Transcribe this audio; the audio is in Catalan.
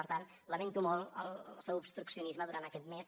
per tant lamento molt el seu obstruccionisme durant aquest mes